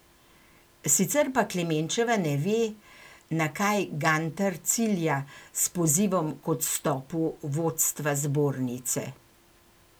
Sicer pa Klemenčeva ne ve, na kaj Gantar cilja s pozivom k odstopu vodstva zbornice.